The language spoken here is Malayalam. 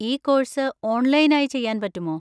ഈ കോഴ്‌സ് ഓൺലൈൻ ആയി ചെയ്യാൻ പറ്റുമോ?